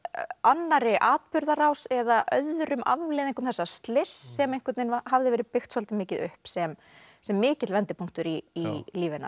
annarri atburðarás eða öðrum afleiðingum þessa slyss sem einhvern veginn hafði verið byggt svolítið mikið upp sem sem mikill vendipunktur í lífi hennar